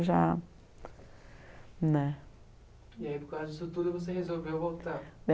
já, né. E aí, por causa disso tudo, você resolveu voltar?